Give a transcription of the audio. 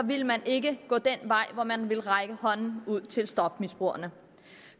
ville man ikke gå den vej hvor man ville række hånden ud til stofmisbrugerne